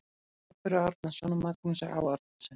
Barböru Árnason og Magnúsi Á. Árnasyni.